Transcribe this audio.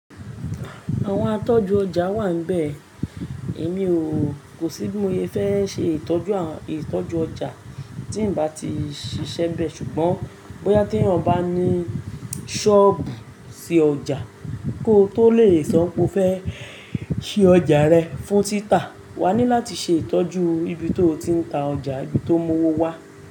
Àwọn atọ́jú ọjà wà níbẹ̀. Èmi o, kò sí bí mo ye fé ṣe ìtọ́jú, ìtọ́jú ọjà tí ń bá ti ṣiṣẹ́ bẹ́ẹ̀. Ṣùgbọ́n bóyá tí èèyàn bá ní sọ́ọ̀bù sí ọjà, kó tó lè sọ wípé, o fẹ́ ṣí ọjà rẹ fún títà, wà á ní láti ṣe ìtọ́jú ibi to ti ń ta ọjà, ibi to mú owó wá.